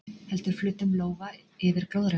Heldur flötum lófa yfir glóðarauganu.